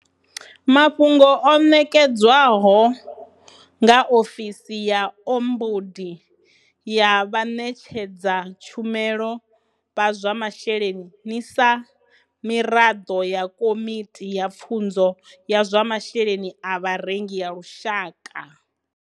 Mafhungo o ṋekedzwaho nga Ofisi ya Ombudi ya Vhaṋetshedza tshumelo vha zwa Mashele ni sa muraḓo wa Komi ti ya Pfunzo ya zwa Masheleni a Vharengi ya Lushaka.